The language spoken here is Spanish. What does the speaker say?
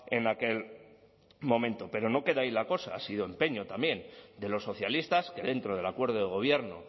en aquel momento pero no queda ahí la cosa ha sido empeño también de los socialistas que dentro del acuerdo de gobierno